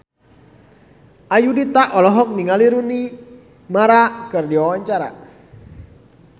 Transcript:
Ayudhita olohok ningali Rooney Mara keur diwawancara